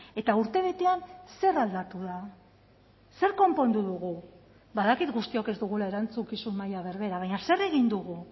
eta urtebetean zer aldatu da zer konpondu dugu badakit guztiok ez dugula erantzukizun maila berbera baina zer egin dugu